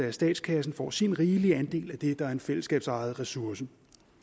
at statskassen får sin rigelige andel af det der er en fællesskabsejet ressource